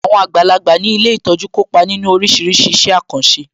Àwọn àgbàlagbà ní ilé ìtọ́jú kópa nínu oríṣiríṣi iṣẹ́ àkànṣe